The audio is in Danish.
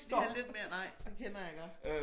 Lige have lidt mere nej det kender jeg godt